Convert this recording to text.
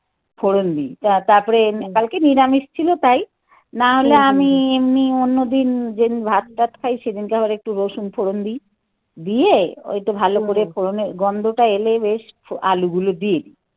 ফোরন দি. তা তারপরে কালকে নিরামিষ ছিল তাই. না হলে আমি এমনি অন্যদিন যেদিন ভাত টাত খাই সেদিনকে আবার একটু রসুন ফোড়ন দি. দিয়ে ওই তো ভালো করে ফোড়নের গন্ধটা এলে বেশ আলু গুলো দি